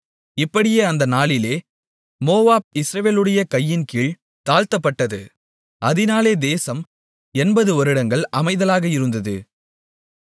இப்படியே அந்த நாளிலே மோவாப் இஸ்ரவேலுடைய கையின்கீழ் தாழ்த்தப்பட்டது அதனாலே தேசம் 80 வருடங்கள் அமைதலாக இருந்தது